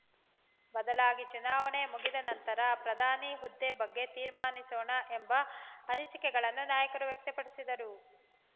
ಬದಲಾಗಿ ಚುನಾವಣೆ ಮುಗಿದ ನಂತರ ಪ್ರಧಾನಿ ಹುದ್ದೆ ಬಗ್ಗೆ ತೀರ್ಮಾನಿಸೋಣ ಎಂಬ ಅನಿಸಿಕೆಗಳನ್ನು ನಾಯಕರು ವ್ಯಕ್ತಪಡಿಸಿದರು